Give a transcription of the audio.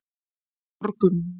Borgum